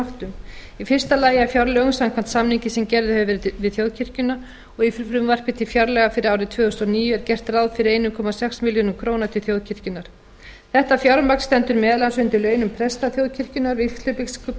áttum í fyrsta lagi af fjárlögum samkvæmt samningi sem gerður hefur verið við þjóðkirkjuna í frumvarpi til fjárlaga fyrir árið tvö þúsund og níu er gert ráð fyrir einn komma sex milljörðum króna til þjóðkirkjunnar þetta fjármagn stendur meðal annars undir launum presta þjóðkirkjunnar vígslubiskupa